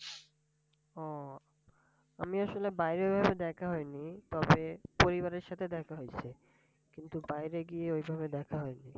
ও আমি আসলে বাইরে ওইভাবে দেখা হয়নি তবে পরিবারের সাথে দেখা হইছে কিন্তু বাইরে গিয়ে ওইভাবে দেখা হয়নি।